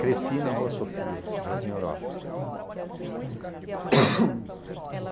cresci na Rua Sofia, Jardim Europa ahn